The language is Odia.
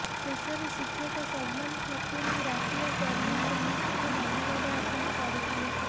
ଶେଷରେ ଶିକ୍ଷକ ସବନମ ଖାତୁନ ଓ ରାଫିଆ ପରୱିନ୍ ସମସ୍ତଙ୍କୁ ଧନ୍ୟବାଦ ଅର୍ପଣ କରିଥିଲେ